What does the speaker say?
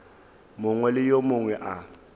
mongwe le yo mongwe a